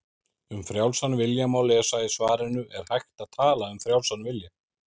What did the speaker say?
Um frjálsan vilja má lesa í svarinu Er hægt að tala um frjálsan vilja?